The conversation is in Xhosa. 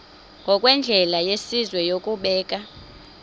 ngokwendlela yesizwe yokubeka